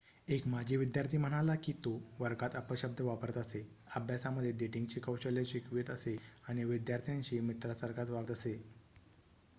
एक माजी विद्यार्थी म्हणाला की 'तो वर्गात अपशब्द वापरत असे अभ्यासामध्ये डेटिंगची कौशल्ये शिकवत असे आणि विद्यार्थ्यांशी मित्रासारखाच वागत असे.'